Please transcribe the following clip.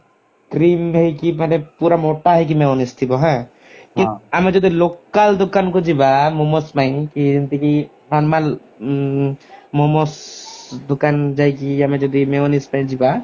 cream ହେଇକି ମାନେ ପୁରା ମୋଟା ହେଇକି mayonnaise ଥିବ ହାଁ ଆମେ ଯଦି local ଦୋକାନ କୁ ଯିବା momos ପାଇଁ କି ଯେମିତି କି normal ଉଁ momos ଦୁକାନ ଯାଇକି ଆମେ ଯଦି mayonnaise ପାଇଁ ଯିବା